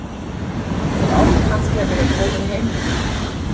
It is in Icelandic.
Þú átt kannski að vera kominn heim núna.